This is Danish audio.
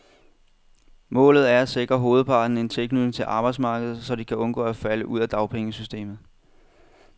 Målet er at sikre hovedparten en tilknytning til arbejdsmarkedet, så de kan undgå at falde ud af dagpengesystemet.